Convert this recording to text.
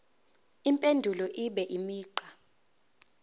impendulo ibe imigqa